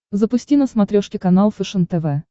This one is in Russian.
запусти на смотрешке канал фэшен тв